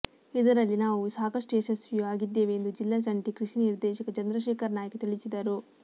ಇದರಲ್ಲಿ ನಾವು ಸಾಕಷ್ಟು ಯಶಸ್ವಿಯೂ ಆಗಿದ್ದೇವೆ ಎಂದು ಜಿಲ್ಲಾ ಜಂಟಿ ಕೃಷಿ ನಿರ್ದೇಶಕ ಚಂದ್ರಶೇಖರ್ ನಾಯ್ಕ್ ತಿಳಿಸಿದರು